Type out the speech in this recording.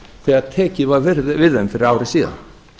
þegar tekið var við þeim fyrir ári síðan